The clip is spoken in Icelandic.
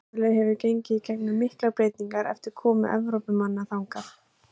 Ástralía hefur gengið í gegnum miklar breytingar eftir komu Evrópumanna þangað.